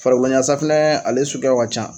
Farakoyasafunɛ ale suguyaw ka ca